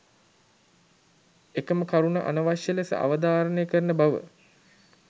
එකම කරුණ අනවශ්‍ය ලෙස අවධාරණය කරන බව